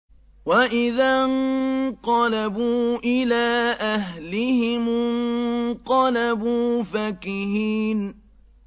وَإِذَا انقَلَبُوا إِلَىٰ أَهْلِهِمُ انقَلَبُوا فَكِهِينَ